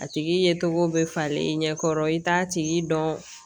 A tigi ye tɔgɔw bɛ falen i ɲɛ kɔrɔ i t'a tigi dɔn